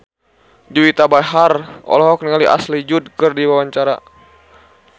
Juwita Bahar olohok ningali Ashley Judd keur diwawancara